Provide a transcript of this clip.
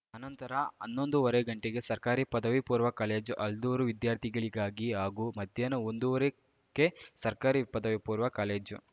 ಅನಂತರ ಹನ್ನೊಂದುವರೆ ಗಂಟೆಗೆ ಸರ್ಕಾರಿ ಪದವಿಪೂರ್ವ ಕಾಲೇಜು ಆಲ್ದೂರು ವಿದ್ಯಾರ್ಥಿಗಳಿಗಾಗಿ ಹಾಗೂ ಮಧ್ಯಾಹ್ನ ಒಂದುವರೆ ಕ್ಕೆ ಸರ್ಕಾರಿ ಪದವಿಪೂರ್ವ ಕಾಲೇಜು